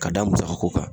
Ka da musaka ko kan